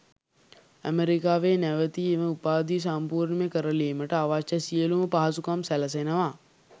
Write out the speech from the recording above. ඇමරිකාවේ නැවතී එම උපාධිය සම්පූර්ණ කරලීමට අවශ්‍ය සියළුම පහසුකම් සැලසෙනවා.